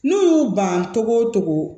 N'u y'u ban togo togo